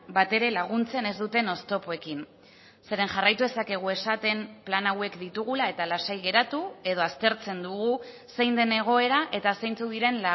batere laguntzen ez duten oztopoekin zeren jarraitu dezakegu esaten plan hauek ditugula eta lasai geratu edo aztertzen dugu zein den egoera eta zeintzuk diren